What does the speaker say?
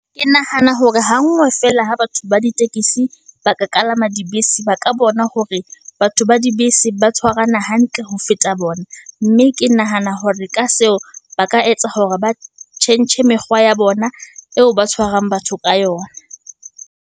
Ke nahana hore ha ngwe fela ha batho ba ditekesi, ba ka kalama dibese, ba ka bona hore batho ba dibese ba tshwarana hantle ho feta bona. Mme ke nahana hore ka seo, ba ka etsa hore ba tjhentjhe mekgwa ya bona, eo ba tshwarang batho ka yona.